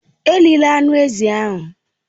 Erila anụ ezi ahụ!